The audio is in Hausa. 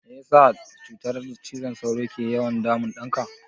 Mene ne ya sa cutar cizon sauro ke yawan damun ɗanka?